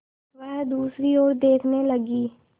वह दूसरी ओर देखने लगी